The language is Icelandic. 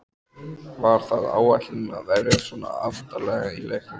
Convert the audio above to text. Var það áætlunin að verjast svona aftarlega í leiknum?